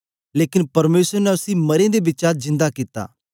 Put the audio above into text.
लेकन परमेसर ने उसी मरें दे बिचा जिन्दा कित्ता